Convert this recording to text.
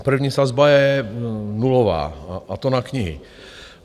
První sazba je nulová, a to na knihy.